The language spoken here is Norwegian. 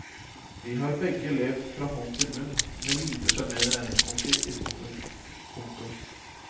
De har begge levd fra hånd til munn med lite sjarmerende regningsbunker i skuffen. punktum